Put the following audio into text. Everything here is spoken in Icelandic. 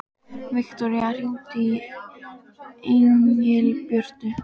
Viktoría, hringdu í Engilbjörtu.